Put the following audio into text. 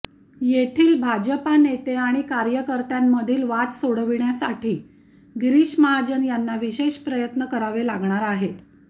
येथील भाजपा नेते आणि कार्यकर्त्यांमधील वाद सोडविण्यासाठी गिरीश महाजन यांना विशेष प्रयत्न करावे लागणार आहे